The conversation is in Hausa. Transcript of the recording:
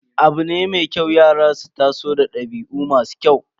Abu ne mai kyau yara su taso da dabi'u masu kyau.